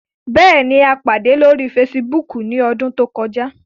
Bẹẹni, a pade lori Fèsìbúukù ni ọdun to kọja